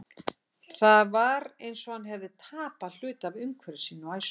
Það var eins og hann hefði tapað hluta af umhverfi sínu og æsku.